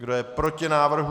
Kdo je proti návrhu?